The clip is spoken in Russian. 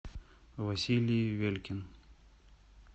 василий велькин